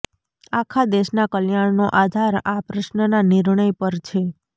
આખા દેશના કલ્યાણનો આધાર આ પ્રશ્નના નિર્ણય પર છે